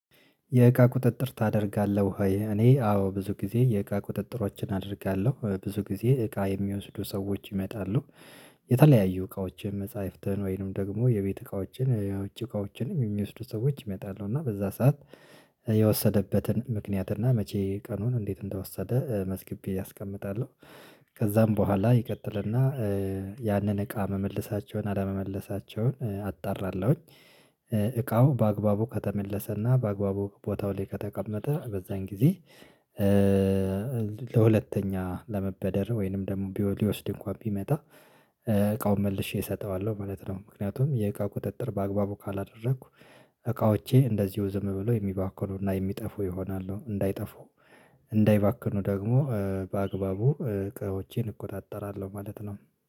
የእቃ ቁጥጥር ታደርጋለህ ወይ? እኔ አዎ ብዙ ጊዜ የእቃ ቁጥጥሮችን አደርጋለሁ ብዙ ጊዜ እቃ የሚወስዱ ሰዎች ይመጣሉ። የተለያዩ እቃዎችን መጻፍተን ወይንም ደግሞ የቤት እቃዎችን የውጭ እቃዎችንም የሚወስዱ ሰዎች ይመጣለሁ እና በዛ ሰዓት የወሰደበትን ምክንያት እና መቼ ቀኑን እንዴት እንደወሰደ መዝግቤ አስቀምጣለሁ። ከዛም በኋላ ይቀጥልና ያንን እቃ መመልሳቸውን አለመመለሳቸውን አጣራለሁኝ። እቃው በአግባቡ ከተመለሰና በአግባቡ ቦታው ላይ ከተቀመጠ በዛን ጊዜ። ለሁለተኛ ለመበደር ወይንም ደግሞ ሊወስድ እንኳን ቢመጣ እቃውን መልሼ እሰጠዋለሁ ማለት ነው። ምክንያቱም የእቃ ቁጥጥር በአግባቡ ካላደረኩ እቃዎቼ እንደዚሁ ዝም ብሎ የሚባክኑና የሚጠፉ ይሆናሉ። እንዳይጠፉ እንዳይባክኑ ደግሞ በአግባቡ እቃዎቼን እቆጣጠራለሁ ማለት ነው